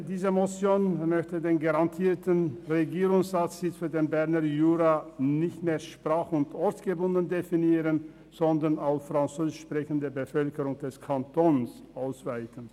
Diese Motion möchte den garantierten Regierungsratssitz für den Berner Jura nicht mehr sprach- und ortsgebunden definieren, sondern auf die Französisch sprechende Bevölkerung des Kantons ausweiten.